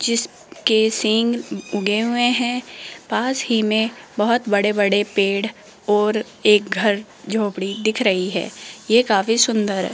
जिसके सिंह उगे हुए हैं पास ही में बहोत बड़े बड़े पेड़ और एक घर झोपड़ी दिख रही है यह काफी सुंदर है।